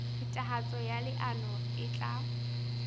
phethahatso ya leano e tla